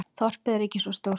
Þorpið er ekki svo stórt.